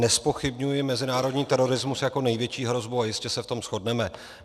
Nezpochybňuji mezinárodní terorismus jako největší hrozbu a jistě se v tom shodneme.